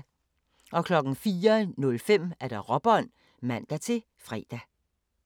04:05: Råbånd (man-fre)